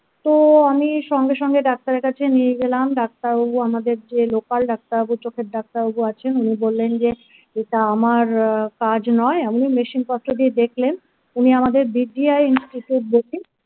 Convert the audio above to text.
তো আমি সঙ্গে সঙ্গে ডাক্তারের কাছে নিয়ে গেলাম ডাক্তারবাবু আমাদের যে লোকাল ডাক্তারবাবু চোখের ডাক্তার বাবু আছেন উনি বললেন যে এটা আমার আ কাজ নয় এমনি machine পত্র দিয়ে দেখলেন উনি আমাদের বিপিআই